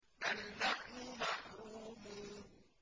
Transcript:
بَلْ نَحْنُ مَحْرُومُونَ